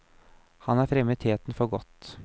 Han er fremme i teten for godt.